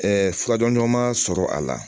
furadɔma sɔrɔ a la